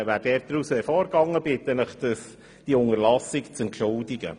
Ich bitte Sie, diese Unterlassung zu entschuldigen.